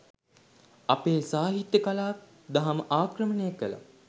අපේ සාහිත්‍ය කලාව, දහම ආක්‍රමණය කළා.